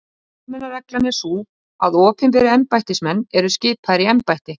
Repúblikanar lýstu yfir áhyggjum af kostnaðinum